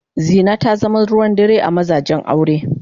Zina ta zama ruwan dare a mazajen aure.